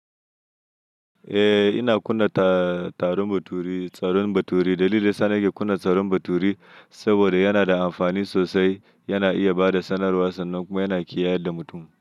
Eh, ina kunna turaren baturi. Dalilin ɗaya sa ni ke kunna turaren baturi saboda yana da amfani sosai, yana iya bada sanarwa sannan kuma yana kiyaye da mutum.